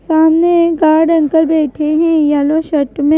सामने guard uncle बैठे हैं येलो शर्ट में--